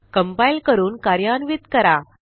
compile करून कार्यान्वित करा